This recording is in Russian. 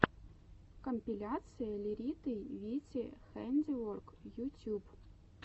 компиляция лериты вити хэндиворк ютюб